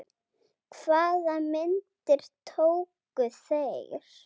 Hvaða myndir tóku þeir?